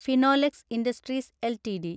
Finolex Industries LTD